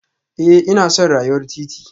Eh ina son rayuwar titi